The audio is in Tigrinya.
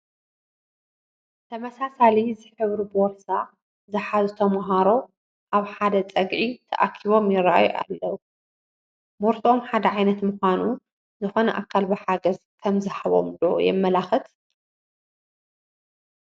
ተመሳሳሊ ዝሕብሩ ቦርሳ ዝሓዙ ተመሃሮ ኣብ ሓደ ፀግዒ ተኣኪቦም ይርአዩ ኣለዉ፡፡ ቦርስኦም ሓደ ዓይነት ምዃኑ ዝኾነ ኣካል ብሓገዝ ከምዝሃቦም ዶ የመላኽት?